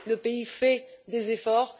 Le pays fait des efforts.